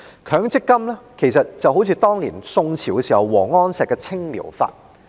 強積金計劃就像宋朝王安石推行的"青苗法"。